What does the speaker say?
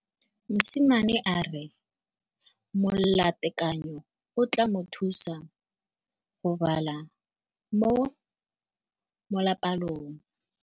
Mosimane a re molatekanyô o tla mo thusa go bala mo molapalong.